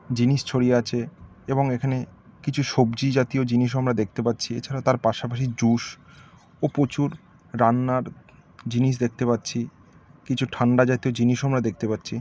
জিনিস ছড়িয়ে আছে এবং এখানে কিছু সবজি জাতীয় জিনিসও আমরা দেখতে পাচ্ছি এছাড়াও তার পাশাপাশি জুস ও প্রচুর রান্নার জিনিস দেখতে পাচ্ছি কিছু ঠান্ডা জাতীয় জিনিসও আমরা দেখতে পাচ্ছি।